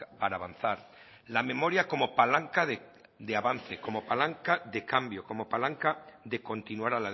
para avanzar la memoria como palanca de avanza como palanca de cambio como palanca de continuar